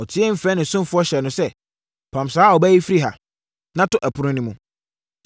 Ɔteaam frɛɛ ne ɔsomfoɔ hyɛɛ no sɛ, “Pam saa ɔbaa yi firi ha, na to ɛpono no mu!”